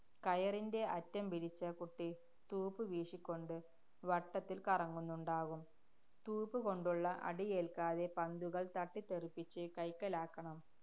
കയറിന്‍റെ അറ്റം പിരിച്ച കുട്ടി തൂപ്പു വീശിക്കൊണ്ട് വട്ടത്തില്‍ കറങ്ങുന്നുണ്ടാവും. തൂപ്പുകൊണ്ടുള്ള അടിയേല്‍ക്കാതെ, പന്തുകള്‍ തട്ടിത്തെറിപ്പിച്ച് കൈക്കലാക്കണം.